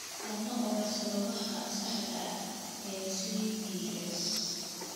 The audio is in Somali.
Lama oga sababaha saxda ah ee SPS.